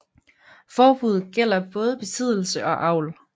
Forbuddet gælder både besiddelse og avl